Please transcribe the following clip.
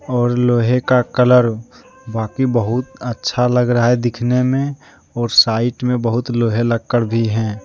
और लोहे का कलर बाकी बहुत अच्छा लग रहा है दिखने में और साइड में बहुत लोहे लक्कड़ भी हैं।